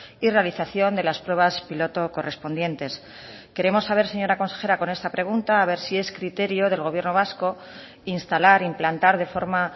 y realización de las pruebas piloto correspondientes queremos saber señora consejera con esta pregunta a ver si es criterio del gobierno vasco instalar implantar de forma